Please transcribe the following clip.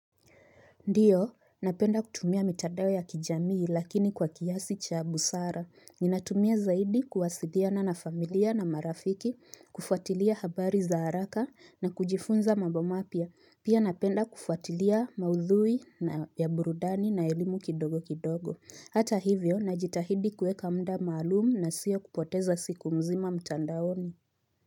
Ndiyo, napenda kutumia mitandao ya kijamii lakini kwa kiasi cha busara. Ninatumia zaidi kuwasiliana na familia na marafiki, kufuatilia habari za haraka na kujifunza mambo mapya. Pia napenda kufuatilia maudhui ya burudani na elimu kidogo kidogo. Hata hivyo, najitahidi kuweka muda maalumu na siyo kupoteza siku mzima mtandaoni.